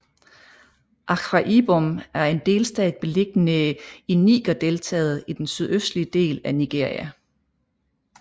Akwa Ibom er en delstat beliggende i Nigerdeltaet i den sydøstlige del af Nigeria